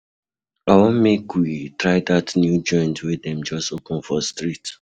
I wan make we try dat new joint wey dem just open for street.